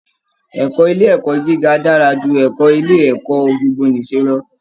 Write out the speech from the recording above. Ẹ̀kọ́ ilé ẹ̀kọ́ gíga dára ju ẹ̀kọ́ ilé ẹ̀kọ́ gbogbo-nìṣe lọ